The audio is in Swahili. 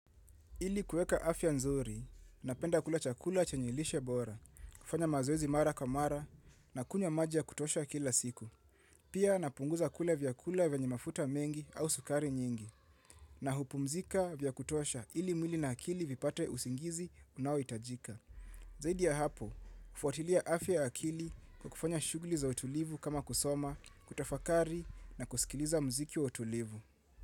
Ili kuweka afya nzuri, napenda kula chakula chenye lishe bora, kufanya mazoezi mara kwa mara na kunywa maji ya kutosha kila siku. Pia napunguza kula vyakula vyakula vyenye mafuta mengi au sukari nyingi, na hupumzika vya kutosha ili mwili na akili vipate usingizi unaohitajika. Zaidi ya hapo, kufuatilia afya ya akili kwa kufanya shughuli za utulivu kama kusoma, kutafakari na kusikiliza mziki wa utulivu.